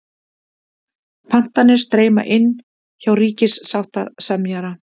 Pantanir streyma inn hjá ríkissáttasemjara